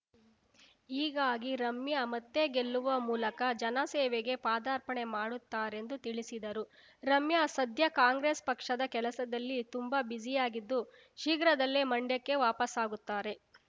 ಹೀಗಾಗಿ ರಮ್ಯಾ ಮತ್ತೆ ಗೆಲ್ಲುವ ಮೂಲಕ ಜನ ಸೇವೆಗೆ ಪಾದಾರ್ಪಣೆ ಮಾಡುತ್ತಾರೆಂದು ತಿಳಿಸಿದರು ರಮ್ಯಾ ಸದ್ಯ ಕಾಂಗ್ರೆಸ್‌ ಪಕ್ಷದ ಕೆಲಸದಲ್ಲಿ ತುಂಬಾ ಬ್ಯುಸಿಯಾಗಿದ್ದು ಶೀಘ್ರದಲ್ಲೇ ಮಂಡ್ಯಕ್ಕೆ ವಾಪಸ್ಸಾಗುತ್ತಾರೆ